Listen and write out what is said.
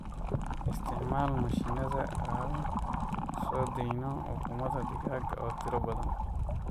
Isticmaal mashiinnada aan soo dayn ukumadha digaaga oo tiro badan.